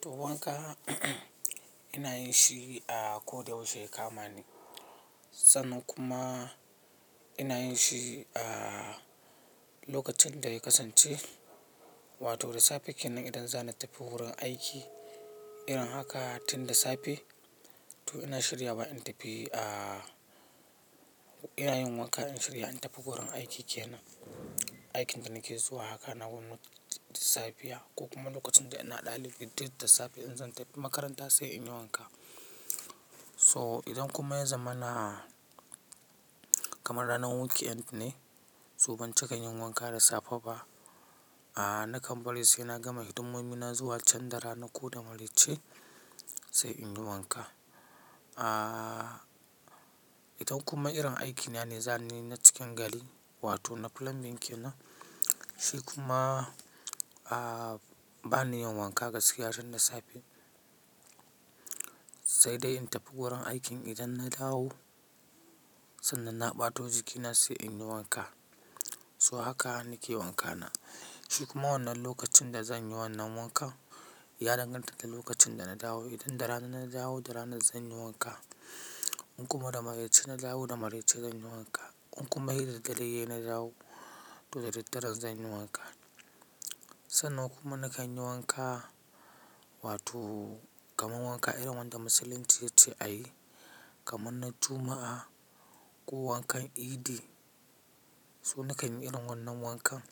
To wanka ina yin shi a ko da yaushe ya kama ni, sannan kuma ina yin shi a lokacin da ya kasance. Wato da safe kenan idan zan tafi wurin aiki, irin haka tin da safe to ina shirya wa in tafi a-- ina yin wanka in shirya in tafi wurin aiki kenan. Aikin da nake zuwa haka na gwamnati safiya ko kuma lokacin da ina ɗalibi, duk da safe in zan tafi makaranta sai in yi wanka. So idan kuma ya zama na kamar ranar weekend ne, so ban cika yin wanka da safe ba, a, nakan bari sai na gama hidimomi na zuwa can da rana ko da maraice sai in yi wanka. A, idan kuma irin aikina ne zan yi na cikin gari wato na plumbing kenan, shi kuma, a, ba ni yin wanka gaskiya tun da safe. Sai dai in tafi wurin aikin idan na dawo sannan na ɓato jikina sai in yi wanka. So haka nake wankana. Shi kuma wannan lokacin da zan yi wannan wanka ya danganta da lokacin da na dawo. Idan da rana na dawo, da rana zan yi wanka. In kuma da maraice na dawo, da maraice zan yi wanka. In kuma hira da dare ne na dawo, to da daddare zan yi wanka. Sannan kuma nakan yi wanka wato kamar wanka irin wanda musulunci ya ce a yi, kamar na Juma'a ko wankan Idi. So nakan yi irin wannan wankan,